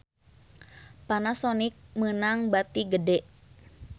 Panasonic meunang bati gede